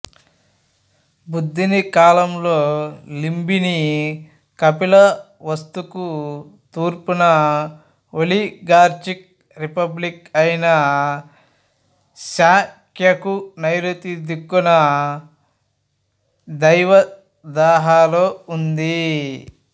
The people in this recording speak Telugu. బుద్ధుని కాలంలో లుంబిని కపిలవస్తుకు తూర్పున ఒలిగార్చిక్ రిపబ్లిక్ అయిన శాక్యకు నైరుతి దిక్కున దేవదాహలో ఉంది